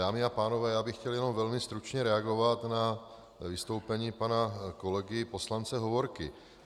Dámy a pánové, já bych chtěl jenom velmi stručně reagovat na vystoupení pana kolegy poslance Hovorky.